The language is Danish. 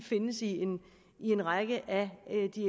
findes i en række